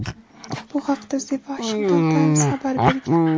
Bu haqda The Washington Times xabar bergan .